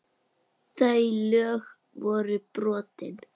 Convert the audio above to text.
Þau lög voru brotin.